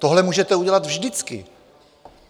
Tohle můžete udělat vždycky.